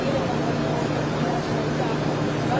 Üç min dörd yüz on iki min doqquz min səkkiz yüz üç min.